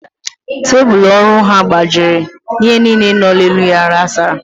Tebulu ọrụ ahụ gbajiri, ihe niile nọ n'elu ya ghasara